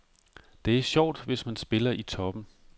Det er sjovt, hvis man spiller i toppen.